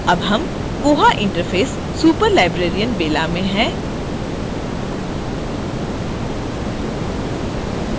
अब हम koha interface superlibrarian bella में हैं